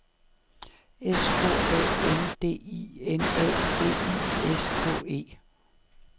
S K A N D I N A V I S K E